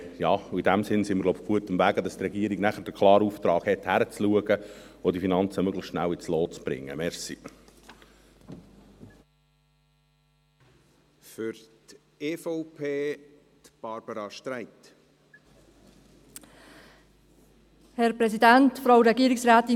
In diesem Sinn sind wir – glaube ich – auf gutem Weg, sodass die Regierung nachher den klaren Auftrag hat, hinzuschauen und die Finanzen möglichst schnell ins Lot zu bringen.